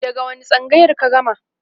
daga wani tsangayar ka gama?